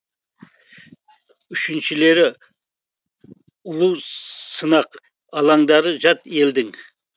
үшіншілері ұлу сынақ алаңдары жат елдің